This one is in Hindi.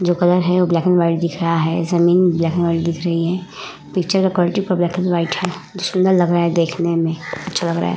जो कलर है ब्लैक एंड वाइट दिख रहा है। जमीन ब्लैक एंड वाइट दिख रही है। पिक्चर का क्वालिटी पूरा ब्लैक एंड वाइट है जो सुन्दर लग रहा है देखने में अच्छा लग रहा है।